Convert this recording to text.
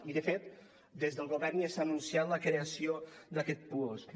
i de fet des del govern ja s’ha anunciat la creació d’aquest puosc